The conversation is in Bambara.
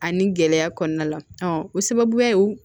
Ani gɛlɛya kɔnɔna la o sababuya ye